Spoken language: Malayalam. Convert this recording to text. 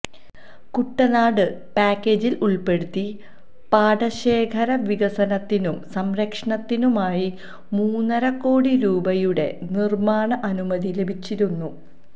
കുട്ടനാട് പാക്കേജില് ഉള്പ്പെടുത്തി പാടശേഖര വികസനത്തിനും സംരക്ഷണത്തിനുമായി മൂന്നരക്കോടി രൂപയുടെ നിര്മാണ അനുമതി ലഭിച്ചിരുന്നു